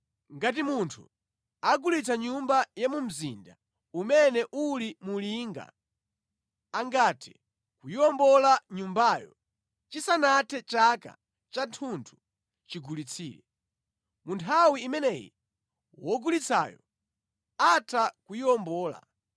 “ ‘Ngati munthu agulitsa nyumba ya mu mzinda umene uli mu linga, angathe kuyiwombola nyumbayo chisanathe chaka chathunthu chigulitsire. Mu nthawi imeneyi wogulitsayo atha kuyiwombola.